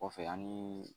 Kɔfɛ an ni